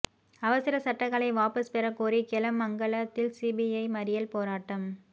அவசர சட்டங்கலை வாபஸ் பெறக் கோரி கெலமங்கலத்தில் சிபிஐ மறியல் போராட்டம்